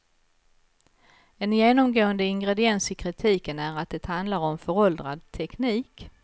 En genomgående ingrediens i kritiken är att det handlar om föråldrad teknik.